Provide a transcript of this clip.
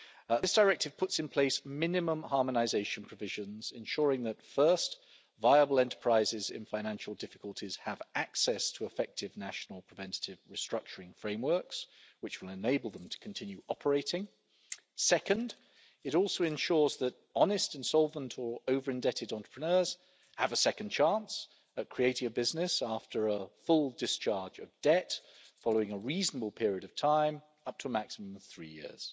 This directive puts in place minimum harmonisation provisions, ensuring firstly that viable enterprises in financial difficulties have access to effective national preventative restructuring frameworks, which will enable them to continue operating. Secondly, it also ensures that honest insolvent or over indebted entrepreneurs have a second chance at creating a business after a full discharge of debt, following a reasonable period of time, up to a maximum of three years.